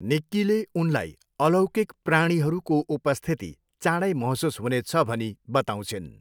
निक्कीले उनलाई अलौकिक प्राणीहरूको उपस्थिति चाँडै महसुस हुनेछ भनी बताउँछिन्।